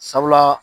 Sabula